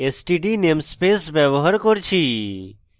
std namespace ব্যবহার করছি